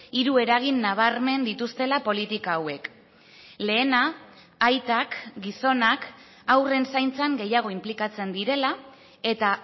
hiru eragin nabarmen dituztela politika hauek lehena aitak gizonak haurren zaintzan gehiago inplikatzen direla eta